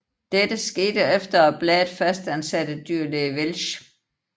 Dette skete efter at bladet fastansatte dyrlæge Welsch